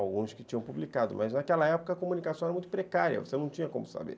alguns que tinham publicado, mas naquela época a comunicação era muito precária, você não tinha como saber.